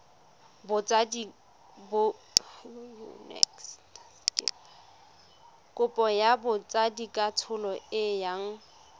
kopo ya botsadikatsholo e yang